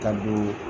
Ka don